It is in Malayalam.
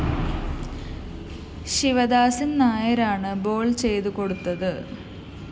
ശിവദാസന്‍ നായരാണ് ബോൾ ചെയ്തു കൊടുത്തത്